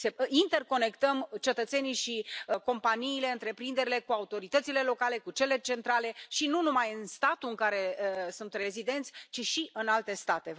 Să interconectăm cetățenii și companiile, întreprinderile cu autoritățile locale, cu cele centrale și nu numai în statul în care sunt rezidenți, ci și în alte state.